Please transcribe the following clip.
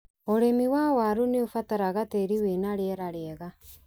ũrĩmi wa warũ nĩ ũbataraga tĩĩri wĩna rĩera rĩega.